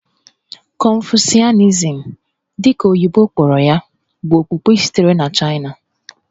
Confucianism, dị ka oyibo kpọrọ ya, bụ okpukpe sitere na Chaịna.